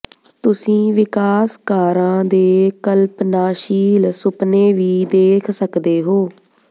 ਤੁਸੀਂ ਵਿਕਾਸਕਾਰਾਂ ਦੇ ਕਲਪਨਾਸ਼ੀਲ ਸੁਪਨੇ ਵੀ ਦੇਖ ਸਕਦੇ ਹੋ